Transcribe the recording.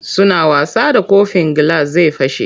Suna wasa da kofin gilas zai fashe.